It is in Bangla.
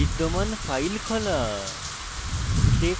বিদ্যমান file খোলা